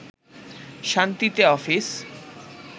শান্তিতে অফিস